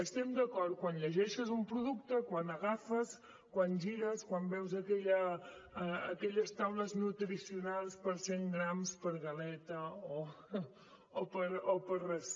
estem d’acord que quan llegeixes un producte quan agafes quan gires quan veus aquelles taules nutricionals per cent grams per galeta ració